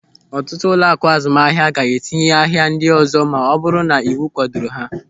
Ọtụtụ ụlọaku azụmahịa ga-etinye n'ahia ndị ọzọ ma ọ bụrụ na iwu kwadoro ha.